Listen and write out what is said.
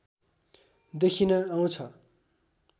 देखिन आउँछ